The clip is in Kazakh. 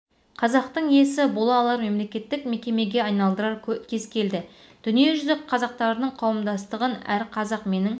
қазақтың иесі бола алар мемлекеттік мекемеге айналдырар кез келді дүниежүзі қазақтарының қауымдастығын әр қазақ менің